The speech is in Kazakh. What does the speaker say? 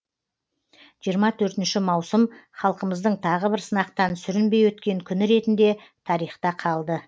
жиырма төртінші маусым халқымыздың тағы бір сынақтан сүрінбей өткен күні ретінде тарихта қалды